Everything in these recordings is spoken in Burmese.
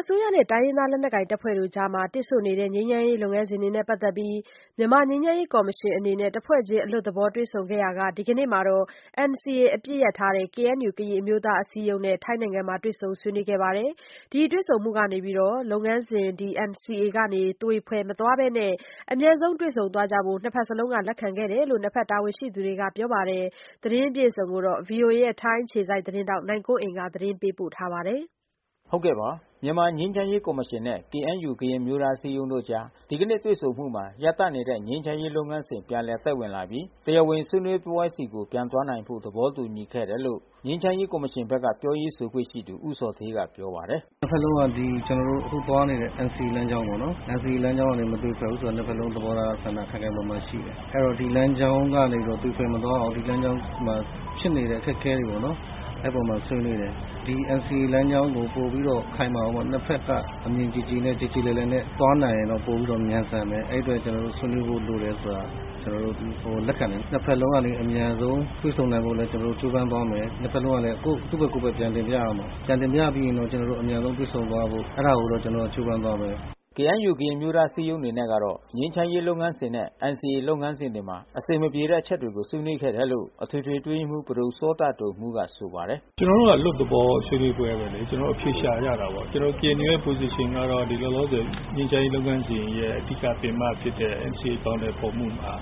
အစိုးရနဲ့တိုင်းရင်းသားလက်နက်ကိုင်တပ်ဖွဲ့တွေအကြား တစ်ဆို့နေတဲ့ငြိမ်းချမ်းရေးလုပ်ငန်းစဉ်တွေနဲ့ ပတ်သက်ပြီး မြန်မာငြိမ်းချမ်းရေးကော်မရှင်အနေနဲ့တဖွဲ့ချင်းအလွတ်သဘောတွေ့ဆုံနေရာမှာ ဒီကနေ့မှာတော့ NCA အပစ်ရပ် KNUကရင်အမျိုးသားအစည်းအရုံးနဲ့ ထိုင်းနိုင်ငံအတွင်းတွေ့ဆုံဆွေးနွေးခဲ့ကြတာပါ။ ဒီတွေ့ဆုံမှုမှာ NCA လုပ်ငန်းစဉ်ကနေ သွေဖယ်မသွားဘဲအမြန်ဆုံးတွေ့ဆုံသွားဖို့ နှစ်ဖက်လုံးကလက်ခံမှုတွေရှိခဲ့တယ်လို့ နှစ်ဖက်တာဝန် ရှိသူတွေကပြောပါတယ်။ဗွီအိုအေထိုင်းအခြေစိုက် သတင်းထောက် နိုင်ကွန်းအိန်ကနေ သတင်းပေးပို့ထားပါတယ်။ မြန်မာငြိမ်းချမ်းရေးကော်မရှင်နဲ့KNU ကရင်အမျိုးသားအစည်းအရုံးတို့အကြား ဒီကနေ့တွေ့ဆုံမှုမှာ ရပ်တန့်နေတဲ့ ငြိမ်းချမ်းရေးလုပ်ငန်းစဉ်ပြန်လည်အသက်ဝင်လာပြီး တရားဝင်ဆွေးနွေးပွဲများဆီ ပြန်သွားနိုင်ဖို့ သဘောတူခဲ့တယ် လို့ ငြိမ်းချမ်းရေးကော်မရှင်ပြောရေးဆိုခွင့်ရှိသူ ဦးဇော်ဌေးကပြောပါတယ်။ “နှစ်ဖက်လုံးကသွားနေတဲ့ကျွန်တော်တို့ NCAလမ်းကြောင်းပေါ့နော်။ NCA လမ်းကြောင်းကနေမသွေဖယ်ဘူးဆိုတာ နှစ်ဖက်လုံးကသဘောထားဆန္ဒခိုင်ခိုင်မာမာ ရှိတယ်။ အဲဒီတော့ဒီလမ်းကြောင်းကနေ သွေဖယ်မသွားအောင်ဒီလမ်း ကြောင်းမှာဖြစ်နေတဲ့အခက်ခဲတွေပေါ့နော်။ အဲဒီအပေါ်မှာဆွေးနွေးတယ်။ ဒီNCAလမ်းကြောင်းကိုပိုပြီးတော့ခိုင်မာ အောင်ပေါ့ နှစ်ဖက်ကအမြင်ကြည်ကြည်နဲ့ကြေကြေလည်လည်နဲ့သွားနိုင်ရင်တော့ပိုပြီးတော့မြန်ဆန်မယ်။ အဲဒီအ တွက် ကျွန်တော်တို့ဆွေးနွေးဖို့လိုတယ်လို့ ကျွန်တော်တို့လက်ခံတယ်။ နှစ် ဖက်လုံးကလဲအမြန်ဆုံး တွေ့ဆုံနိုင်ဖို့ ကျွန်တော်တို့လဲကြိုးပမ်းသွားမယ်။ နှစ်ဖက်လုံးကလဲ သူ့ဖက်ကိုယ့်ဖက်ပြန်တင်ပြရမယ်။ ပြန်တင်ပြပြီးရင်တော့ ကျွန်တော်တို့အမြန်ဆုံးတွေ့ဆုံသွားဖို့ အဲတာကိုတော့ကျွန်တော်တို့ကြိုးပမ်းသွားမယ်။" KNU ကရင်အမျိုးသားအစည်းအရုံးအနေနဲ့ကတော့ ငြိမ်းချမ်းရေးလုပ်ငန်းစဉ်နဲ့ NCAလုပ်ငန်းစဉ်တွေမှာ အဆင် မပြေတဲ့အချက်တွေကို ဆွေးနွေးခဲ့တယ်လို့ အထွေထွေအတွင်းရေးမှူးပဒိုစောတဒိုမှူးကဆိုပါတယ်။ “ကျွန်တော်တို့ကအလွတ်သဘောဆွေးနွေးပွဲပေါ့လေ။ ကျွန်တော်တို့အဖြေရှာကြတာပေါ့။ ကျွန်တော်တို့KNUရဲ့ Position ကတော့ လောလောဆယ် ငြိမ်းချမ်းရေးလုပ်ငန်းစဉ် ရဲ့အဓိကပင်မဖြစ်တဲ့ အဖြေအကောင်အထည်ဖေါ်မှုမှာ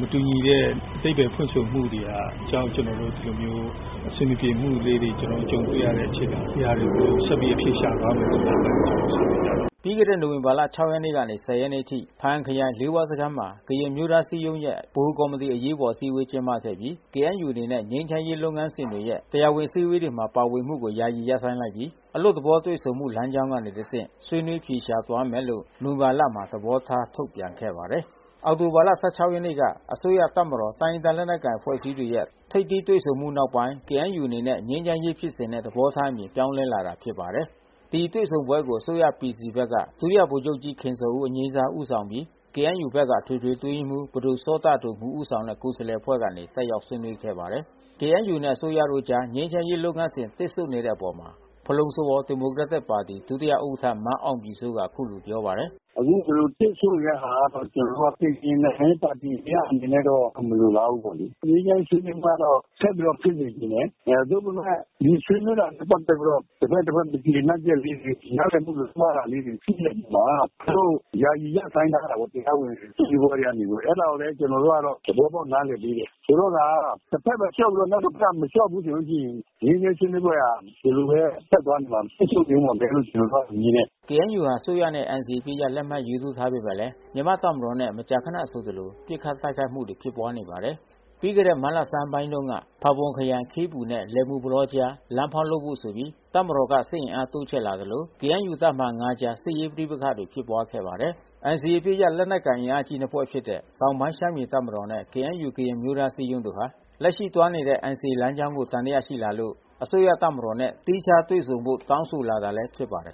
မတူညီတဲ့အဓိပါယ်ဖွင့်ဆိုမှုတွေ ကြောင့်ကျွန်တော်တို့ဒီလိုမျိုး အဆင်မပြေမှုလေးတွေကျွန်တော်တို့ ကြုံတွေ့ ရတဲ့ အချိန်မှာ ဒီဟာတွေကိုဆက်ပြီးအဖြေရှာသွားဖို့ ကျွန်တော်တို့ဆွေးနွေးကြတယ်။” ပြီးခဲ့တဲ့နိုဝင်ဘာ ၆ ရက်နေ့ကနေ ၁၀ ရက်နေ့ထိ ဘားအံခရိုင် လေးဝါးစခန်း မှာကရင်အမျိုးသားအစည်းအရုံးရဲ့ ဗဟိုကော်မတီအရေးပေါ်အစည်းအဝေးကျင်းပခဲ့ပြီး KNUအနေနဲ့ ငြိမ်းချမ်းရေးလုပ်ငန်းစဉ်တွေရဲ့ တရားဝင်အစည်း အဝေးတွေမှာပါဝင်မှုကို ယာယီရပ်ဆိုင်းလိုက်ပြီး အလွတ်သဘောတွေ့ဆုံမှုလမ်းကြောင်းကနေ တဆင့်ဆွေးနွေး အဖြေရှာသွားမယ်လို့နိုဝင်ဘာလမှာသဘောထားထုတ်ပြန်ခဲ့ပါတယ်။ အောက်တိုဘာလ ၁၆ ရက်နေ့က အစိုးရ တပ်မတော် တိုင်းရင်းသားလက်နက်ကိုင်အဖွဲ့ခေါင်းဆောင်တို့ ထိပ်သီး တွေ့ဆုံမှုနောက်ပိုင်း KNU အနေနဲ့ ငြိမ်းချမ်းရေးဖြစ်စဉ်နဲ့သဘောထားအမြင်ပြောင်းလဲလာတာဖြစ်ပါတယ်။ ဒီတွေ့ဆုံပွဲကို အစိုးရ PC ဘက်မှ ဒု- ဗိုလ်ချုပ်ကြီးခင်ဇော်ဦး ဦးဆောင်ပြီး KNUဘက်က အထွေထွေအတွင်း ရေးမှူး ပဒိုစောတဒိုမှူး ဦးဆောင်တဲ့ ကိုယ်စားလှယ်အဖွဲ့ကနေ တက်ရောက်ဆွေးနွေးခဲ့ပါတယ်။ KNUနဲ့ အစိုးရတို့အကြားငြိမ်းချမ်းရေးလုပ်ငန်းစဉ် တစ်ဆို့နေတဲ့အပေါ် ဖလုံ-စဝေါ် ဒီမိုကရက်တစ်ပါတီ-ဒုဥက္ကဌ မန်းအောင်ပြည်စိုးကအခုလိုပြောပါတယ်။ “အခုဒီလိုတစ်ဆိုနေတဲ့ဟာကတော့ ကျွန်တော်တို့ကရင်နိုင်ငံရေးပါတီ တရပ်အနေနဲ့ကတော့မလိုလားဘူးပေါ့လေ။ ငြိမ်းချမ်းရေးဆွေးနွေးပွဲကတော့ ဆက်ပြီးတော့ဖြစ်စေချင်တယ်။ သို့ပေမဲ့ ဒီဆွေးနွေးတာနဲ့ပက်သက်ပြီးတော့ တဘက် နဲ့တဘက် မကျေနပ်ချက်လေးတွေ နားလည်မှုတွေ မှားတာလေးတွေ ဖြစ်နေတဲ့အချိန်မှာ သူတို့ယာယီရပ်ဆိုင်းထားတာ။ တရားဝင်အစည်းအဝေးကနေပြီးတော့ အဲတာကိုလဲ ကျွန်တော်တို့ကတော့ နားလည်သဘောပေါက်ပေးတယ်။ ဆိုတော့ကာ တဖက်လဲလျှော့ပြီး နောက်တဖက်ကမလျှော့ဘူးဆိုလို့ရှိရင် ငြိမ်းချမ်းရေးဆွေးနွေးပွဲဟာ ဒီလိုဘဲဆက်သွားနေမှာဘဲ။ ဆက်ရှုပ်ထွေးမှာဘဲကျွန်တော်တို့ကမြင်တယ်။” KNUဟာ အစိုးရနဲ့NCAအပစ်ရပ်လက်မှတ်ရေးထိုးထားပေမဲ့ မြန်မာ့တပ်မတော်နဲ့မကြာခဏဆိုသလို ပစ်ခတ်တိုက် ခိုက်မှုတွေဖြစ်ပွါးနေပါတယ်။ ပြီးခဲ့တဲ့ မတ်လဆန်းပိုင်းက ဖါးပွန်ခရိုင်၊ ခေးပူနဲ့ လယ်မူပလောအကြား လမ်းဖောက်လုပ်ဖို့ဆိုပြီး တပ်မတော်က စစ်တပ်အင်အား တိုးချဲ့လာသလို တပ်မဟာ အကြား နှစ်ဖက်စစ်ရေးပဋိပက္ခတွေဖြစ်ပွါးခဲ့ပါတယ်။ NCAအပစ်ရပ်လက်နက်ကိုင်အင်အားကြီးအဖွဲ့နှစ်ဖွဲ့ဖြစ်တဲ့တောင်ပိုင်းရှမ်းပြည်တပ်မတော်နဲ့ KNU ကရင်အမျိုးသား အစည်းအရုံးတို့ဟာ လက်ရှိသွားနေတဲ့ NCAလမ်းကြောင်းကို သံသယရှိလာလို့လဲ အစိုးရတပ်မတော်နဲ့ သီးခြား တွေ့ဆုံဖို့ တောင်းဆိုလာတာလဲဖြစ်ပါတယ်